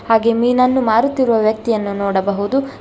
ಹಾಗೆ ಮೀನನ್ನು ಮಾರುತ್ತಿರುವ ವ್ಯಕ್ತಿಯನ್ನು ನೋಡಬಹುದು.